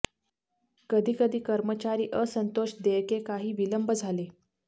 कधी कधी कर्मचारी असंतोष देयके काही विलंब झाले